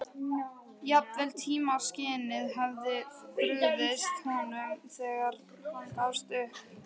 Jafnvel tímaskynið hafði brugðist honum þegar hann gafst upp.